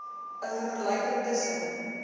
n vergelyking tussen